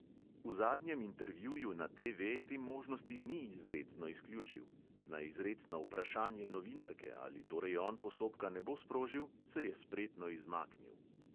V zadnjem intervjuju na TV te možnosti ni izrecno izključil na izrecno vprašanje novinarke, ali torej on postopka ne bo sprožil, se je spretno izmaknil.